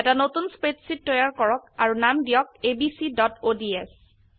এটা নতুন স্প্ৰেডশীট তৈয়াৰ কৰক আৰু নাম দিয়ক abcঅডছ